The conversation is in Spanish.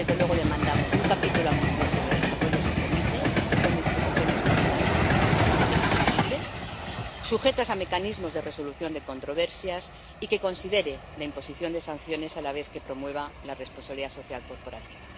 Y, desde luego, demandamos un capítulo ambicioso de desarrollo sostenible con disposiciones vinculantes, exigibles, sujetas a mecanismos de resolución de controversias y que considere la imposición de sanciones a la vez que promueva la responsabilidad social corporativa.